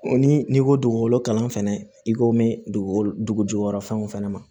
Ni n'i ko dugukolo kalan fɛnɛ i ko bɛ dugukolo jukɔrɔ fɛnw fɛnɛ ma